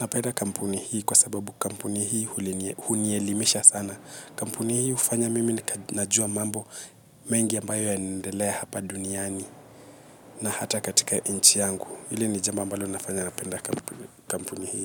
Napenda kampuni hii kwa sababu kampuni hii hunielimisha sana. Kampuni hii ufanya mimi na najua mambo mengi ambayo yanendelea hapa duniani na hata katika inchi yangu. Hili ni jambo ambalo linafanya napenda kampuni hii.